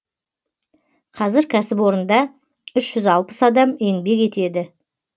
қазір кәсіпорында үш жүз алпыс адам еңбек етеді